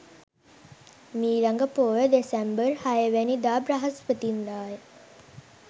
මීළඟ පෝය දෙසැම්බර් 06 වැනි දා බ්‍රහස්පතින්දා ය.